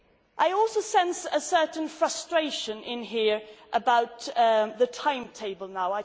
I also sense a certain frustration in here about the timetable now.